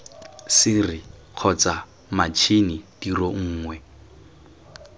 sere kgotsa matšhini tiro nngwe